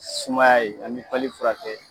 Sumaya ye ani pali furakɛ.